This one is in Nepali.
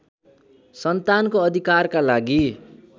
सन्तानको अधिकारका लागि